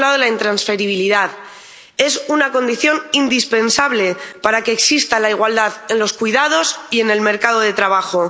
Por un lado, la intransferibilidad es una condición indispensable para que exista la igualdad en los cuidados y en el mercado de trabajo.